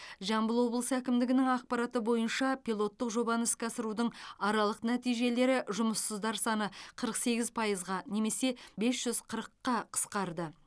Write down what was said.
жамбыл облысы әкімдігінің ақпараты бойынша пилоттық жобаны іске асырудың аралық нәтижелері жұмыссыздар саны қырық сегіз пайызға немесе бес жүз қырыққа қысқарды